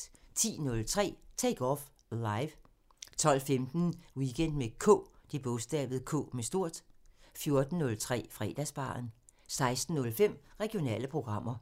10:03: Take Off Live 12:15: Weekend med K 14:03: Fredagsbaren 16:05: Regionale programmer